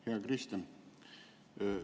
Hea Kristen!